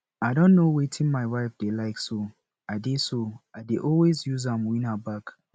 i don know wetin my wife dey like so i dey so i dey always use am win her back